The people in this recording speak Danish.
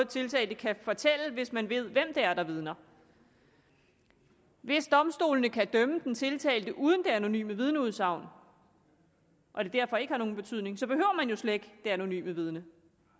tiltalte kan fortælle hvis man ved hvem det er der vidner hvis domstolene kan dømme den tiltalte uden det anonyme vidneudsagn og det derfor ikke har nogen betydning så behøver man jo slet ikke det anonyme vidne